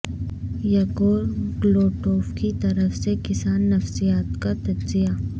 یگور گلوٹوف کی طرف سے کسان نفسیات کا تجزیہ